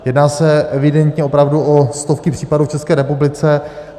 Jedná se evidentně opravdu o stovky případů v České republice.